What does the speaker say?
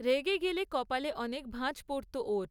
রেগে গেলে কপালে অনেক ভাঁজ পড়ত ওর।